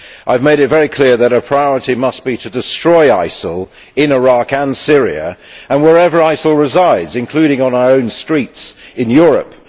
I made it very clear that our priority must be to destroy ISIL in Iraq and Syria and wherever ISIL resides, including on our own streets in Europe.